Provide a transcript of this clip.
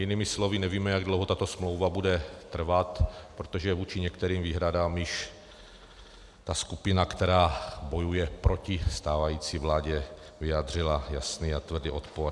Jinými slovy, nevíme, jak dlouho tato smlouva bude trvat, protože vůči některým výhradám již ta skupina, která bojuje proti stávající vládě, vyjádřila jasný a tvrdý odpor.